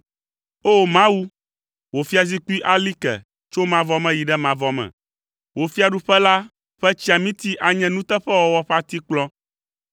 O! Mawu, wò fiazikpui ali ke tso mavɔ me yi ɖe mavɔ me, wò fiaɖuƒe la ƒe tsiamiti anye nuteƒewɔwɔ ƒe atikplɔ.